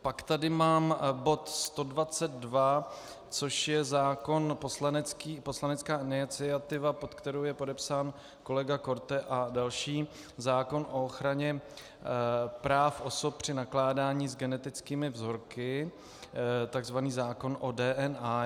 Pak tady mám bod 122, což je zákon, poslanecká iniciativa, pod kterou je podepsán kolega Korte a další, zákon o ochraně práv osob při nakládání s genetickými vzorky, tzv. zákon o DNA.